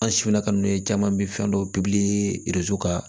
An simina ka n'o ye caman bɛ fɛn dɔ ka